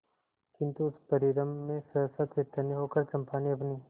किंतु उस परिरंभ में सहसा चैतन्य होकर चंपा ने अपनी